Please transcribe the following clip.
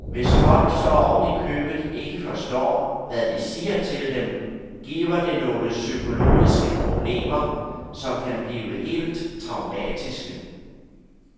Hvis folk så oven i købet ikke forstår, hvad vi siger til dem, giver det nogle psykologiske problemer, som kan blive helt traumatiske.